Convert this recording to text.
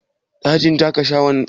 Dajin shaƙatawan ya na rufe?